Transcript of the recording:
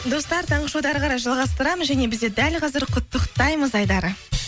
достар таңғы шоуды әрі қарай жалғастырамыз және бізде дәл қазір құттықтаймыз айдары